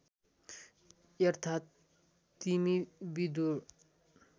अर्थात् तिमी विदुर